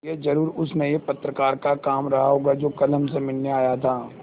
यह ज़रूर उस नये पत्रकार का काम रहा होगा जो कल हमसे मिलने आया था